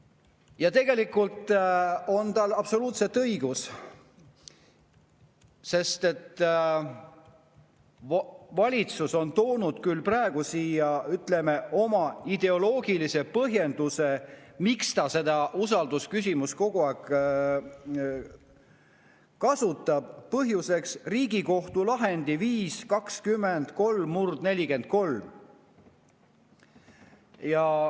Ja tal on absoluutselt õigus, sest et valitsus on küll praegu toonud siia, ütleme, oma ideoloogilise põhjenduse, miks ta seda usaldusküsimust kogu aeg kasutab: see on Riigikohtu lahend 5-20-3/43.